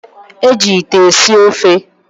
Eji ite esi ofe.